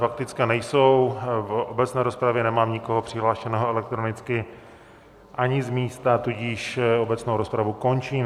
Faktické nejsou, v obecné rozpravě nemám nikoho přihlášeného elektronicky ani z místa, tudíž obecnou rozpravu končím.